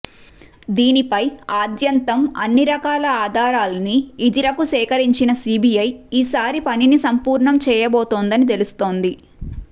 దీనిపై ఆద్యంతం అన్ని రకాల ఆధారాల్ని ఇదిరకూ సేకరించిన సీబీఐ ఈసారి పనిని సంపూర్ణం చేయబోతోందని తెలుస్తోంది